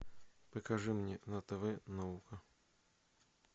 покажи мне на тв наука